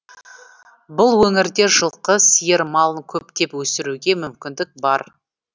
бұл өңірде жылқы сиыр малын көптеп өсіруге мүмкіндік бар